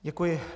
Děkuji.